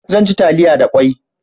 Zan ci taliya da kwai